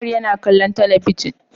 Umar yana kallon talabijin